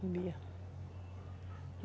Bebia.